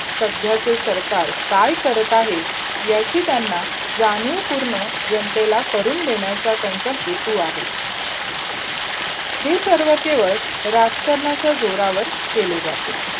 सध्याचे सरकार काय करत आहे? याची त्यांना जाणीवपूर्ण जनतेला करून देण्याचा त्यांचा हेतू आहे. हे सगळ केवळ राजकारणाच्या जोरावर केले जाते.